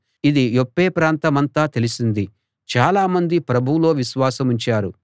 ఇది యొప్పే ప్రాంతమంతా తెలిసింది చాలామంది ప్రభువులో విశ్వాసముంచారు